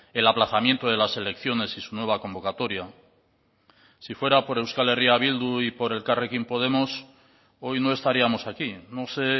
el aplazamiento de las elecciones y su nueva convocatoria si fuera por euskal herria bildu y por elkarrekin podemos hoy no estaríamos aquí no sé